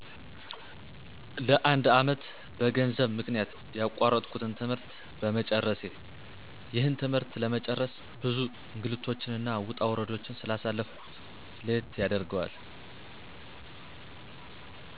ለ፬አመት በገንዘብ ምክንያት ያቋረጥሁትን ትምህርት በመጨረሴ። ይህን ትምህርት ለመጨረስ ብዙ እንግልቶችንና ውጣውረዶችን ስላሳለፍሁበት ለየት ያደርገዋል።